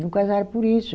Não casaram por isso.